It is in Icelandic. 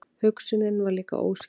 Hugsunin var líka óskýr.